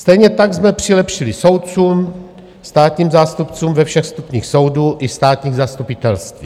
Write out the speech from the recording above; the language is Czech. Stejně tak jsme přilepšili soudcům, státním zástupcům ve všech stupních soudů i státních zastupitelství.